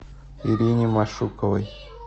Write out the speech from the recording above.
ирине машуковой